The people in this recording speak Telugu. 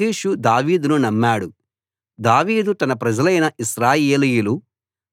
ఆకీషు దావీదును నమ్మాడు దావీదు తన ప్రజలైన ఇశ్రాయేలీయులు